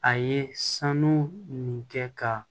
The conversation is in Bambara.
A ye sanu nin kɛ ka